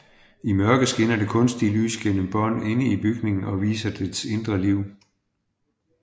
I mørke skinner det kunstige lys gennem bånd inde i bygningen og viser dets indre liv